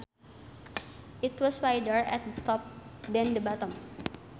it was wider at the top than the bottom